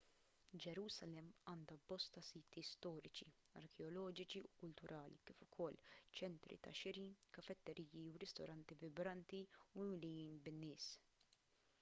ġerusalemm għandha bosta siti storiċi arkeoloġiċi u kulturali kif ukoll ċentri tax-xiri kafetteriji u ristoranti vibranti u mimlijin bin-nies